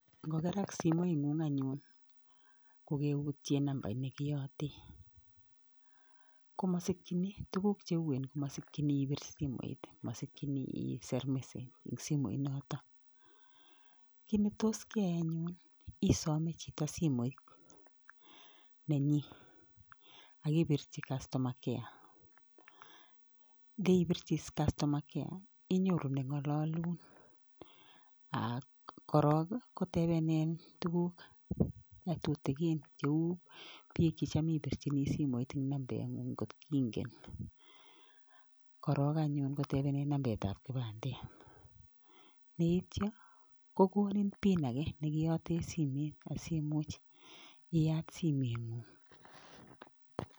Ngokerak simoit ng'ung' anyun kokeutye namabit nekiyaate komosikchini tuguuk cheuen komasikchini ibir simet, masikchini iser message ing' simoit nootok ki ne tos iyai anyun isome chito simoit nenyi akibirchi customer care. ndeibirchi customer care inyoru neng'alalun ak korok kotebenin tuguk tutigin cheuu biik chechamibirchini simoit ing' nambet ng'ung' kotingen korok anyun kotebenin nambet ap kipandet, neeityo kokonin pin age nekiyate simet asimuch iyat simeng'ung'